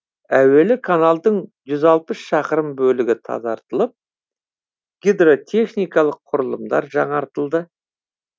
әуелі каналдың жүз алпыс шақырым бөлігі тазартылып гидротехникалық құрылымдар жаңартылды